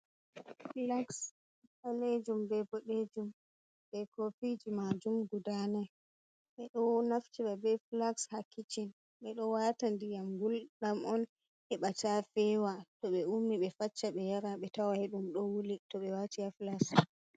Filaks ɓalejum be boɗejum be kofiji majum guda nai, ɓe ɗo naftira ɓe flaxs ha kiccin, ɓe ɗo wata ndiyam gulɗam on heɓa ta fewa, to ɓe ummi ɓe facca ɓe yara be tawai ɗum ɗo wuli to be wati ha filaks.